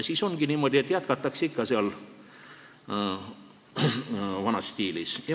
Siis ongi niimoodi, et jätkatakse ikka vanas stiilis.